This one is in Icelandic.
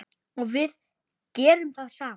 Og við gerum það sama.